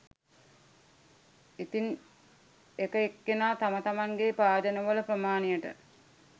ඉතින් එක එක්කෙනා තම තමන්ගේ භාජනවල ප්‍රමාණයට